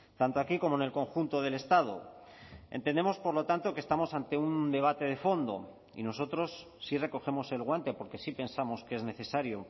tanto aquí como en el conjunto del estado entendemos por lo tanto que estamos ante un debate de fondo y nosotros sí recogemos el guante porque sí pensamos que es necesario